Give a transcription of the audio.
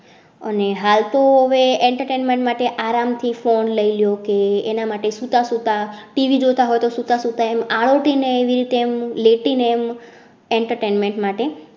અને હાલ તો વે entertainment માટે આરામ થી phone લઇ લો કે એના માટે સુતા સુતા TV જોતા હોય સુતા સુતા એમ આરોટી ને એમ લેટી ને એમ entertainment માટે